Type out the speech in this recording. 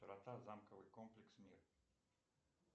замковый комплекс мир